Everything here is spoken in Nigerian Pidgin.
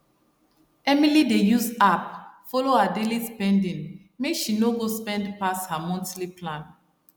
emily dey use app follow her daily spending make she no go spend pass her monthly plan